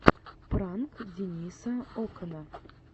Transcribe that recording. пранк дениса окана